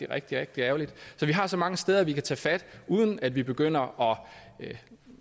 rigtig rigtig ærgerligt så vi har så mange steder vi kan tage fat uden at vi begynder at